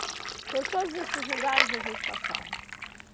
Então, todos esses lugares a gente passava.